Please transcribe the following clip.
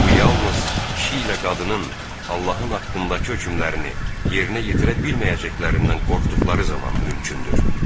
Bu yalnız kişi ilə qadının Allahın haqqındakı hökmlərini yerinə yetirə bilməyəcəklərindən qorxduqları zaman mümkündür.